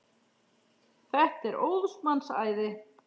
Þetta er óðs manns æði!